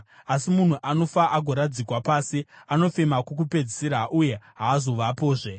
Asi munhu anofa agoradzikwa pasi; anofema kokupedzisira uye haazovapozve.